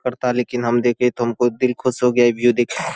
करता लेकिन हम देख के तुमको दिल खुश हो गया हैं व्यू देख --